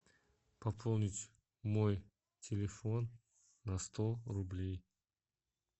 пополнить мой телефон на сто рублей